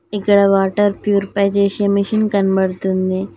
ఎక్కడ water purifier చేసేయ్ machine కనపడుతుంది.